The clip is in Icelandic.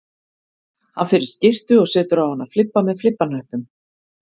Hann fer í skyrtu og setur á hana flibba með flibbahnöppum